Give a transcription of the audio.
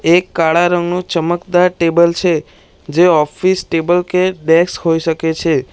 એક કાળા રંગનું ચમકદાર ટેબલ છે જે ઓફિસ ટેબલ કે ડેસ્ક હોઈ શકે છે.